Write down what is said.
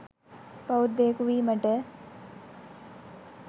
බෞද්ධයකු වීමට